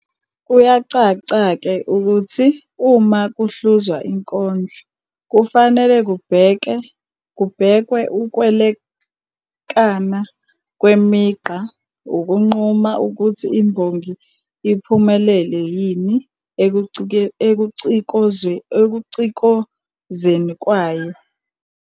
Kuyacaca-ke ukuthi uma kuhluzwa inkondlo kufanele kubhekwe ukwelekana kwemigqa ukunquma ukuthi imbongi iphumelele yini ekucikozeni kwayo.